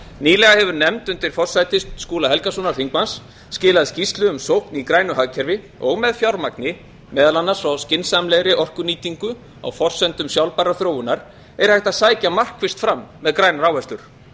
nýlega hefur nefnd undir forsæti háttvirtur þingmaður skúla helgasonar skilað skýrslu um sókn í grænu hagkerfi og með fjármagni meðal annars og skynsamlegri orkunýtingu á forsendum sjálfbærrar þróunar er hægt að sækja markvisst fram með grænar áherslur það